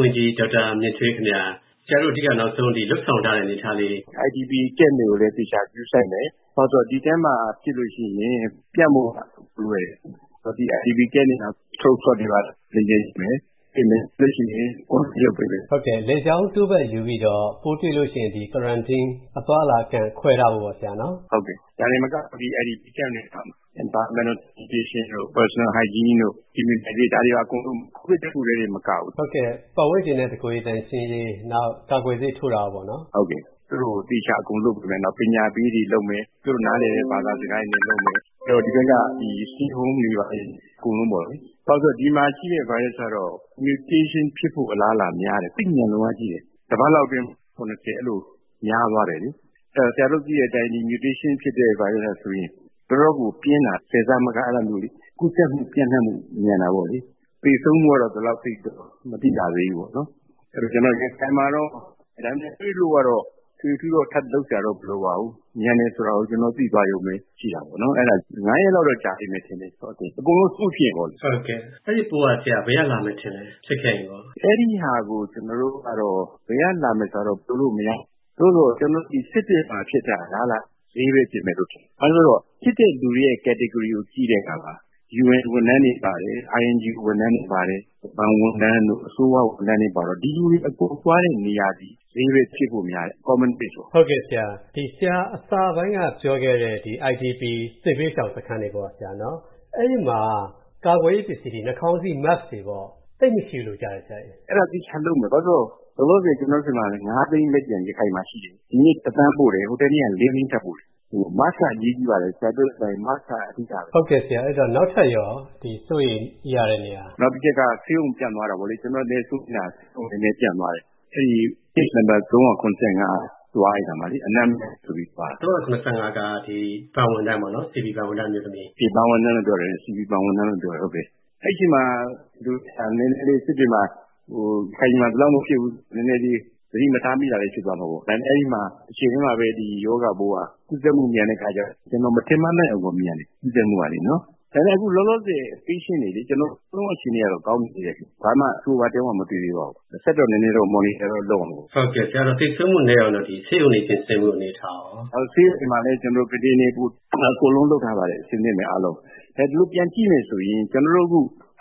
ဝန်ကြီး ဒေါက်တာမြင့်ထွေးခင်ဗျာ၊ ဆရာတို့ အဓိက နောက်ဆုံး လုပ်ဆောင်ထားတဲ့အနေအထားလေး။ IDP Camp တွေကိုလည်း အသေအချာ ဂရုစိုက်မယ်။ ဘာဖြစ်လို့လဲဆိုတော့ ဒီထဲမှာဖြစ်လို့ရှိလျှင် ပြန့်ဖို့လွယ်တယ်။ ဒီ IDP စခန်းတွေမှာ Throat Swab တွေဘာတွေ နည်းနည်း ယူမယ်။ ပြီးလျှင် Quarantine လုပ်ပေးမယ်။ ဒါတွေတင်မကဘူး Camp တွေမှာ Environmental Sanitation ၊ Personal hygiene နဲ့ Immunization ဒါတွေ အကုန်လုံး၊ ဒီကိုဗစ်တစ်ခုထဲတင်မကဘူး၊ သူတို့ကို သေသေချာချာ အကုန်လုပ်ပေးမယ်။ နောက် ပညာပေးတွေ လုပ်မယ်၊ သူတို့နားလည်တဲ့ ဘာသာစကားတွေနဲ့လုပ်မယ်။ ဒီဘက်က Stay Home အကုန်လုံးပေါ့လေ။ ဘာလို့လဲဆိုတော့ ဒီမှာရှိတဲ့ ဗိုင်းရပ်စ်ကတော့ Mutation ဖြစ်ဖို့တော့ အလားအလာ များတယ်။ သိပ်မြန်လွန်းအားကြီးတယ်၊ တစ်ပတ်လောက်အတွင်း ကူးတာ အဲ့လို များသွားတယ်လေ။ အဲ့ဒိတော့ ဒီ Mutation ဖြစ်တဲ့ ဗိုင်းရပ်စ်ကဆိုရင် တော်တော့ကို ပြင်းတာ၊ ၁၀ ဆမက အဲ့ဒါမျိုးလေ၊ ကူးစက်မူ ပျံ.နှံ့မူ မြန်တာပေါ့လေ။ သေဆုံးမူကတော့ ဒီလောက်သိပ်တော့ မသိကြသေးဘူးပေါ့နော်။ အဲ့ဒီတော့၊ ဒါပေမဲ့လည်း၊ ရခိုင်မှာတော့ ဒီပိုးမျိုး တွေ့လို့ရှိလျှင်တော့လည်း ထွေထွေထူးထူးတော့ ထပ်လုပ်စရာမလိုပါဘူး။ ကူးစက်မူမြန်တယ်ဆိုတာ ကျွန်တော်တို့ သိသွားရုံပဲရှိတာပေါ့။ သိဖို့ နောက် ရက်လောက်တော့ ကျွန်တော်တို့ ကြာလိမ့်မယ်ထင်တယ်၊ အကုန်လုံး Smooth ဖြစ်ရင်ပေါ့လေ။ အဲ့ဒိပိုးက ဆရာ ဘယ်ကလာမယ်ထင်လဲ၊ ဖြစ်ခဲ့ရင်ကော။ အဲ့ဒီဟာကို ကျွန်တော်တို့ကတော့ ဘယ်ကလာမယ်ဆိုတာတော့ ပြောလို့ မရနိုင်သေးဘူး။ သို့သော် ဒီစစ်တွေမှာဖြစ်တာ အလားအလာရှိတာက ဈေးပဲဖြစ်မယ်လို့ ထင်တယ်။ ဘာလို့လဲဆိုတော့ ဖြစ်တဲ့လူတွေရဲ့ Category ကိုကြည့်တဲ့အခါ၊ UN ဝန်ထမ်းတွေပါတယ်၊ INGO ဝန်ထမ်းတွေ ပါတယ်၊ ဘဏ်ဝန်ထမ်းတို့ အစိုးရဝန်ထမ်းတွေ ပါတော့၊ ဒီလူတွေ အကုန်လုံးသွားမယ့် နေရာသည် ဈေးပဲဖြစ်ဖို့များတယ်၊ Common Place ပေါ့။ ဆရာအစပိုင်းကပြောတဲ့ IDP စစ်ဘေးရှောင်စခန်းတွေပေါ့၊ အဲ့ဒီမှာ ကာကွယ်ရေးပစ္စည်းတွေ ဥပမာ နှာခေါင်းစီး Mask သိပ်မရှိဘူးလို့ကြားတယ်ဆရာ။ အဲ့ဒါသေချာလုပ်မယ်။ ဘာလို့လဲဆိုတော့ ကျွန်တော်တို့ဆီမှာ Mask ပါးစပ်နဲ့နှာခေါင်းစီး သိန်း ရခိုင်မှာ လက်ကျန်ရှိတယ်။ မနေ့က သန်းပို့တယ်။ ဟိုတနေ့က သိန်းထပ်ပို့တယ်။ Mask က အရေးကြီးပါတယ်။ Mask က အဓိကပဲ။ နောက်ထပ်ရော ဒီ စိုးရိမ်ရတဲ့နေရာ။ နောက်တစ်ချက်က ဆေးရုံကို ပျံ့သွားတာပေါ့လေ။ ကျွန်တော် စိုးရိမ်တာ နည်းနည်း အဲ့မှာ ပျံ.သွားတယ်။ အဲ့ဒိ Case နံပါတ် ဖြစ်တဲ့ ဘဏ် ဝန်ထမ်းအမျိုးသမီး က အနံ့မရဘူးဆိုပြီး ဆေးရုံသွားပြတာမှာ၊ အဲ့ဒီအချိန်မှာ စစ်တွေမှာ ရခိုင်ပြည်မှာ ဒီလောက်မဖြစ်ဘူး၊ နည်းနည်းလေး သတိမထားမိလိုက်တာလည်း ဖြစ်သွားမှာပေါ့။ ဒါပေမဲ့ အဲ့ဒိမှာ တစ်ချိန်ထဲမှာပဲ၊ ရောဂါပိုးဟာ ကူးစက်မူမြန်တဲ့အခါကျတော့။ ကျွန်တော် မထင်မှတ်လောက်အောင်ကို မြန်တယ်၊ ကူးစက်မူက။ ဒါပေမဲ့ လောလောဆယ်လေ Patient တွေ နောက်ဆုံး အခြေအနေကတော့ ကောင်းနေသေးတယ်။ ဘာမှ ဆိုးဆိုးဝါးဝါး တစ်ယောက်မှ မတွေ့ရသေးပါဘူး။ ဆက်တော့ နည်းနည်းတော့ Monitor တော့ လုပ်ရမှာပေါ့။ အဲ့ဒိတော့ သေဆုံးမူနည်းအောင်တော့ ဆေးရုံတွေပြင်ဆင်မူအနေအထားရော။ ဆေးရုံတွေမှာတော့ ကုတင်တွေကို အကုန်လုံး လုပ်ထားပါတယ်။ အဆင့်သင့်ပဲ၊ အားလုံး။ အခု အကုန်လုံးကို ပြန်ကြည့်မယ်ဆိုရင်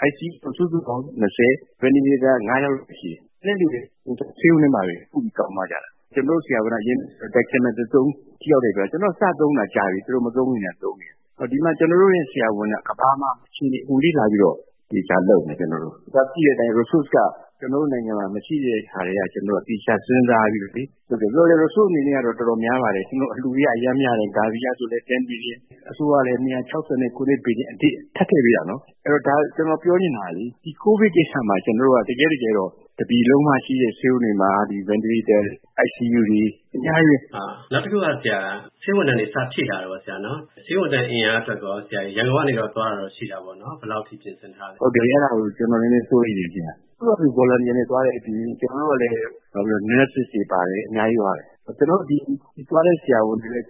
ICU ကို စုစုပေါင်း လူနာ ၊ Ventilator တင်ရတာ ယောက်လောက် ပဲရှိတယ်။ ကျန်တဲ့သူတွေက ဆေးရုံထဲမှာပဲ ကုပြီး ကောင်းသွားကြတာ။ ကျွန်တော်တို့ ဆရာဝန်တွေက Dexamethasone ထိရောက်တယ်ဆိုတာသိပြီး စသုံးတာကြာပြီ၊ သူတို့မသုံးခင်ထဲက သုံးနေတာ။ ဒီမှာ ကျွန်တော်တို့ရဲ့ ဆရာဝန်တွေက ကမ္ဘာမှာ အခြေအနေ အကုန်လေ့လာပြီးတော့ သေသေချာချာလုပ်နေတာ။ သိတဲ့အတိုင်း ကျွန်တော်တို့ နိုင်ငံမှာ Resource က မရှိတဲ့ကြားထဲက သေချာစဉ်းစားပြီးတော့လေ။ သို့သော်လည်းပဲ၊ Resource အနေနဲ့က အခုတော့ အတော်များလာပါတယ်။ အလူတွှေကအရမ်းများတယ်၊ ဥပမာ Gavi ကဆို ဘီလီယျံ ၊ အစိုးရကလည်း ဘီလီယျံ အထိ ထပ်ထည့်ပေးတာနော်။ အဲ့တော့ ဒါကျွန်တော်ပြောချင်တာလေ၊ ဒီ ကိုဗစ်ကိစ္စ မှာ ကျွန်တော်တို့က တကယ့်တကယ်တော့ တစ်ပြည်လုံးက ဆေးရုံတွေမှာ၊ ဒီ Ventilator တွေ၊ ICU တွေ အများကြီးပဲ နောက်တစ်ခုက ဆရာ ဆေးဝန်ထမ်းတွေ ကိုဗစ် စထိလာတယ်ပေါ့နော်။ ဆေးဝန်ထမ်းအင်အားအတွက်ရော၊ ရန်ကုန်ကနေ သွားတာတော့ ရှိတာပေါ့။ ဘယ်လောက်ထိ ပြင်ဆင်ထားလဲ။ ဟုတ်တယ်၊ အဲ့ဒါကို ကျွန်တော် နည်းနည်းစိုးရိမ်တယ်။ သူ့ဟာသူ Volunteer သွားတာအပြင် Nurces လည်းပါတယ်၊ အများကြီးသွားတယ်။ သွားတဲ့ဆရာဝန် တွေလည်း ကျွန်